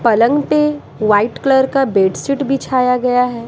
पलंग पे white colour का बेडशीट बिछाया गया है।